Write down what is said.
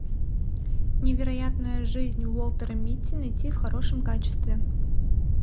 невероятная жизнь уолтера митти найти в хорошем качестве